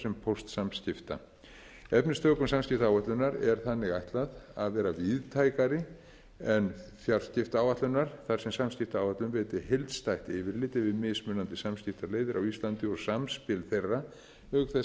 sem póstsamskipta efnistökum samskiptaáætlunar er þannig ætlað að vera víðtækari en fjarskiptaáætlunar þar sem samskiptaáætlun veiti heildstætt yfirlit yfir mismunandi samskiptaleiðir á íslandi og samspil þeirra auk þess